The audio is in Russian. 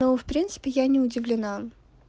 но в принципе я не удивлена